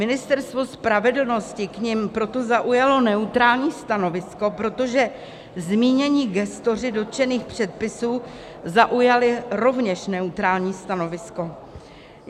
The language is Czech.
Ministerstvo spravedlnosti k nim proto zaujalo neutrální stanovisko, protože zmínění gestoři dotčených předpisů zaujali rovněž neutrální stanovisko.